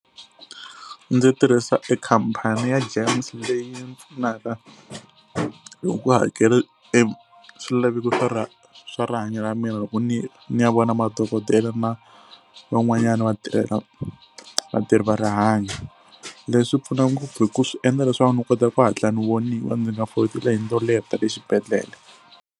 Ndzi tirhisa e khampani ya GEMS leyi ni pfunaka hi ku hakela e swilaveko swa ra swa rihanyo ra mina loko ni ni ya vona madokodela na van'wanyana vatirhela vatirhi va rihanyo. Leswi pfuna ngopfu hi ku swi endla leswaku ni kota ku hatla ni voniwa ndzi nga foli tilayini to leha ta le xibedhlele.